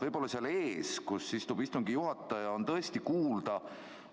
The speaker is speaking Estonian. Võib-olla seal ees, kus istub istungi juhataja, on tõesti kuulda.